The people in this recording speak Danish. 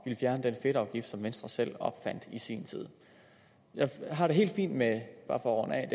ville fjerne den fedtafgift som venstre selv opfandt i sin tid jeg har det helt fint med bare for at